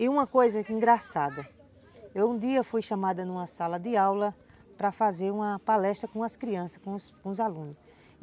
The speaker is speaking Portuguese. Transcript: E uma coisa engraçada, eu um dia fui chamada numa sala de aula para fazer uma palestra com as crianças, com os alunos.